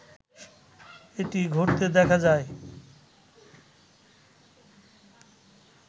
এটি ঘটতে দেখা যায়